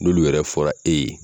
N'ulu yɛrɛ fɔra e ye